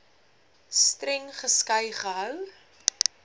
streng geskei gehou